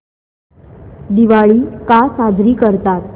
दिवाळी का साजरी करतात